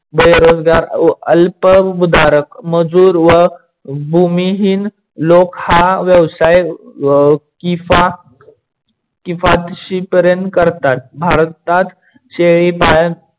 रोजगार अल्प भूधारक मजूर व भूमिहीन लोक हा व्यवसाय किफातशीर पर्यन्त करतात. भारतात शेळी पालन